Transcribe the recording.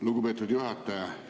Lugupeetud juhataja!